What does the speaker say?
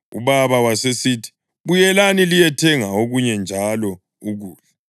Ubaba wasesithi, ‘Buyelani liyethenga okunye njalo ukudla.’